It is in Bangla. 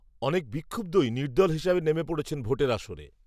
অনেক বিক্ষুব্ধই, নির্দল হিসাবে, নেমে পড়েছেন, ভোটের আসরে